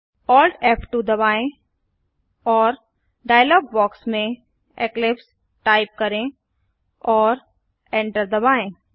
Alt F two दबाएं और dialog box में इक्लिप्स टाइप करें और एंटर दबाएं